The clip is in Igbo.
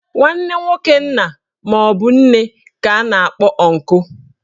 Nwanne nwoke nna maọbụ nne ka a na-akpọ ọnkụ.